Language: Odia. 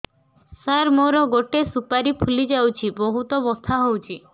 ସାର ମୋର ଗୋଟେ ସୁପାରୀ ଫୁଲିଯାଇଛି ବହୁତ ବଥା ହଉଛି